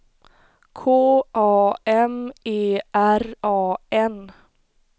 K A M E R A N